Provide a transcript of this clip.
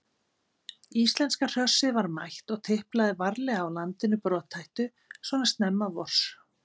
Íslenska hrossið var mætt og tiplaði varlega á landinu brothættu svona snemma vors.